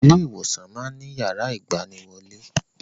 Ilé ìwòsàn máa ń ní yàrá ìgbaniwọlé